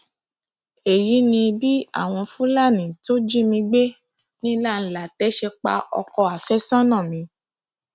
èyí ni bí àwọn fúlàní tó jí mi gbé ní lánlàtẹ ṣe pa ọkọ àfẹsọnà mi